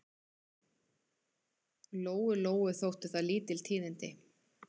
Lóu-Lóu þóttu það lítil tíðindi.